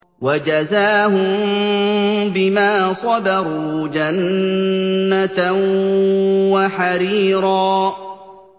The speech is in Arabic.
وَجَزَاهُم بِمَا صَبَرُوا جَنَّةً وَحَرِيرًا